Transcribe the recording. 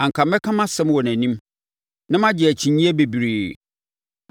anka mɛka mʼasɛm wɔ nʼanim na magye akyinnyeɛ bebree.